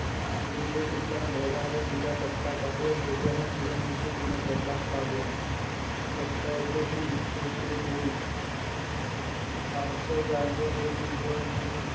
સુનેરી એ કેટલા ધોળા અને પીળા કટકા કાઢ્યા સૂર્ય અને કિરણ નીચે તેના પ્રકાશ લાવ્યા ફક્ત એટલે શું તે જોઈ પાંચસો ગાય નું એક ઇંધણ ઉપની